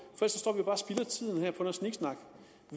noget sniksnak